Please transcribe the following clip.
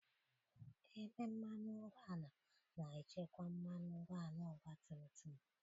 Ebe mmanụ ụgbọala na-echekwa mmanụ ụgbọala ọgba tum tum.